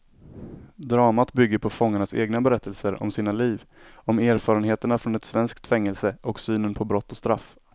Dramat bygger på fångarnas egna berättelser om sina liv, om erfarenheterna från ett svenskt fängelse och synen på brott och straff.